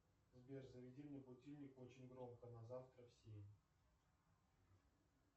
сбер заведи мне будильник очень громко на завтра в семь